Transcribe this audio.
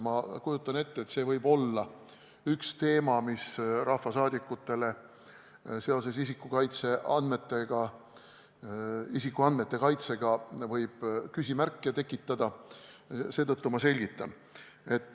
Ma kujutan ette, et see võib olla üks teema, mis rahvasaadikutele küsimusi tekitab, eelkõige isikuandmete kaitse tõttu, seetõttu selgitan.